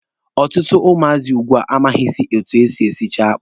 Ọtụtụ ụmụazị ugbua amaghịzị etu e si esicha akpụ.